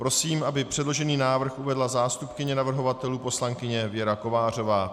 Prosím, aby předložený návrh uvedla zástupkyně navrhovatelů poslankyně Věra Kovářová.